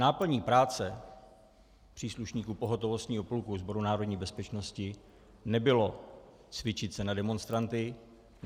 Náplní práce příslušníku pohotovostního pluku Sboru národní bezpečnosti nebylo cvičit se na demonstranty.